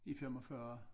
I 45